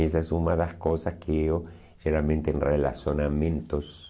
Essa és uma das coisas que eu, geralmente em relacionamentos...